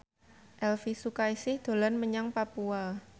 Elvy Sukaesih dolan menyang Papua